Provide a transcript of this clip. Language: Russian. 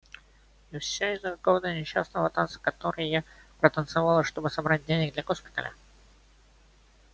и все из-за какого-то несчастного танца который я протанцевала чтобы собрать денег для госпиталя